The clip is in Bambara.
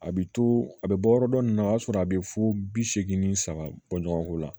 A bɛ to a bɛ bɔ yɔrɔ dɔ nin na o y'a sɔrɔ a bɛ fo bi seegin ni saba bɔ ɲɔgɔn ko la